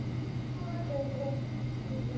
Hver er hann nú?